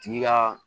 Tigi ka